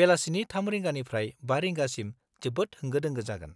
बेलासिनि 3 रिंगानिफ्राय 5 रिंगासिम जोबोद होंगो-दोंगो जागोन।